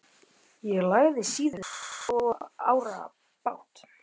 Ég lagði síður en svo árar í bát.